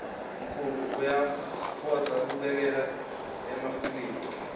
mkhulu uyafoudza kubukela emafilimu